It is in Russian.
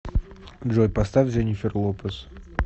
джой поставь дженнифер лопез